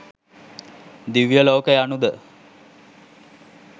දිව්‍යලෝක යනු ද